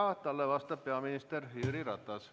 Talle vastab peaminister Jüri Ratas.